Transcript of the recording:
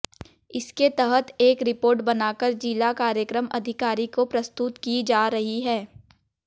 इसके तहत एक रिपोर्ट बनाकर जिला कार्यक्रम अधिकारी को प्रस्तुत की जा रही है